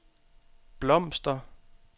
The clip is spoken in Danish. blomster